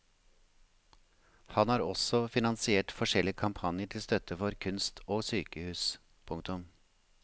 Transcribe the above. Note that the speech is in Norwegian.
Han har også finansiert forskjellige kampanjer til støtte for kunst og sykehus. punktum